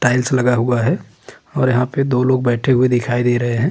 Tiles लगा हुआ है और यहाँ पे दो लोग बैठे हुए दिखाई दे रहें हैं।